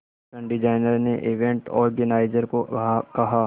fashion designer ने event organiser को कहा